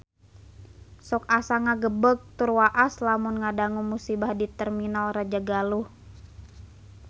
Sok asa ngagebeg tur waas lamun ngadangu musibah di Terminal Rajagaluh